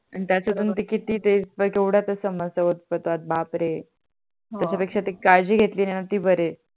आणि त्याच्या तुन ते किती ते केवडा ते संपत बापरे त्या पेक्षा ते काळजी नाही ते बरे